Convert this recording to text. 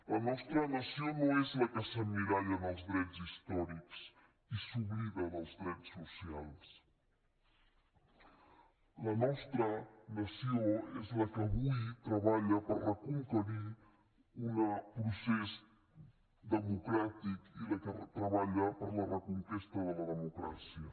la nostra nació no és la que s’emmiralla en els drets històrics i s’oblida dels drets socials la nostra nació és la que avui treballa per reconquerir un procés democràtic i la que treballa per la reconquesta de la democràcia